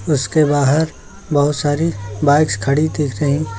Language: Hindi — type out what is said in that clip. उसके बाहर बहोत सारी बाइक्स खड़ी दिख रहीं--